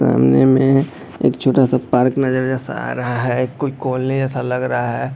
सामने में एक छोटा सा पार्क नज़र जैसा आ रहा है कोई कॉलोनी जैसा लग रहा है।